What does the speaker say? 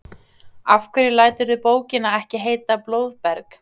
Af hverju læturðu bókina ekki heita Blóðberg?